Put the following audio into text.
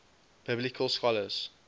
biblical scholars